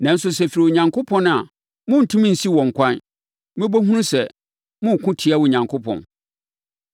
Nanso, sɛ ɛfiri Onyankopɔn a morentumi nsi wɔn kwan. Mobɛhunu sɛ moreko atia Onyankopɔn.”